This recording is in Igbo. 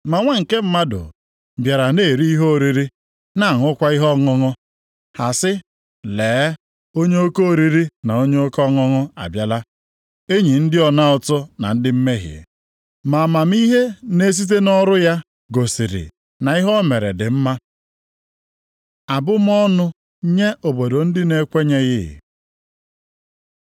Ma Nwa nke Mmadụ bịara na-eri ihe oriri, na-aṅụkwa ihe ọṅụṅụ. Ha sị, ‘Lee, onye oke oriri na onye oke aṅụmaṅụ abịala, enyi ndị ọna ụtụ na ndị mmehie.’ Ma amamihe na-esite nʼọrụ ya gosiri na ihe o mere dị mma.” Abụmọnụ nye obodo ndị na-ekwenyeghị